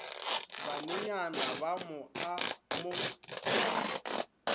banenyana ba mo a mo